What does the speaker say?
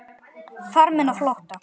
Farmenn á flótta